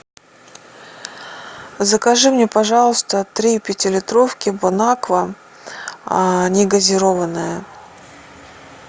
закажи мне пожалуйста три пятилитровки бонаква негазированная